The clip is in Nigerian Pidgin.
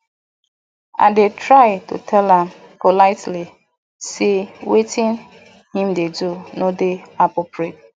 i dey try tell am politely sey wetin him dey do no dey appropriate